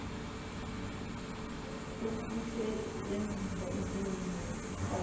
sokusebenzisa umsebenzi weposo